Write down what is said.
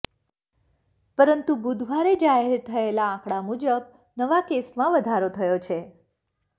પરંતુ બુધવારે જાહેર થયેલા આંકડા મુજબ નવા કેસમાં વધારો થયો છે